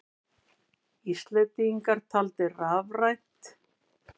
Íslendingar taldir rafrænt